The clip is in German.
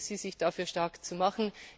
Ich bitte Sie, sich dafür stark zu machen.